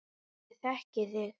Ég þekki þig.